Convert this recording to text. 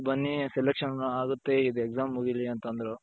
ಬನ್ನಿ selection ಆಗುತ್ತೆ ಇದು exam ಮುಗಿಲಿ ಅಂತoದ್ರು.